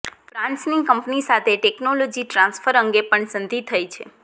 ફ્રાન્સની company સાથે technology transfer અંગે પણ સંધિ થઈ છે